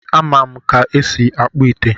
A ma m ka esi akpụ ite